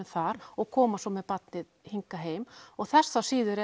þar og koma svo með barnið heim og þess þá síður